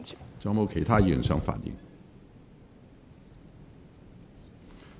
是否有其他委員想發言？